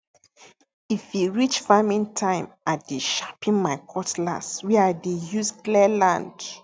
if e reach farming time i dey sharpen my cutlass wey i dey use clear land